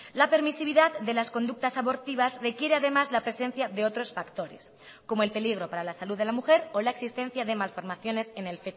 la permisividad de las conductas abortivas requiere además la presencia de otros factores como el peligro para la salud de la mujer o la existencia de malformaciones en el